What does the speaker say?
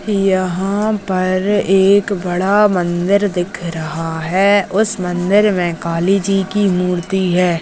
यहाँ पर एक बड़ा मंदिर दिख रहा है उस मंदिर मे काली जी की मूर्ति है।